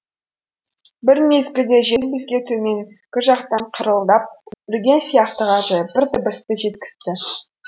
бір мезгілде жел бізге төменгі жақтан қырылдап үрген сияқты ғажайып бір дыбысты жеткізді